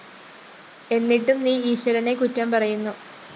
എന്നിട്ടും നീ ഈശ്വരനെ കുറ്റം പറയുന്നു